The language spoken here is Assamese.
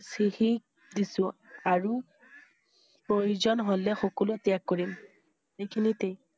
চিহি দিছোঁ আৰু প্ৰয়োজন হলে সকলো ত্যাগ কৰিম এইখিনিতেই